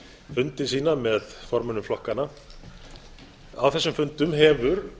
fundi sína með formönnum flokkanna á þessum fundum hefur